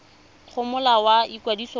go molao wa ikwadiso wa